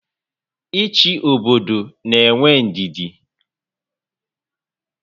Ị́chị́ obodo n'éwé ndidi